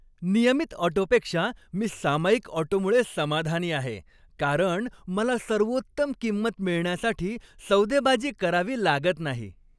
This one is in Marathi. नियमित ऑटोपेक्षा मी सामायिक ऑटोमुळे समाधानी आहे, कारण मला सर्वोत्तम किंमत मिळण्यासाठी सौदेबाजी करावी लागत नाही.